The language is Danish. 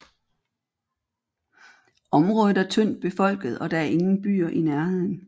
Området er tyndt befolket og der er ingen byer i nærheden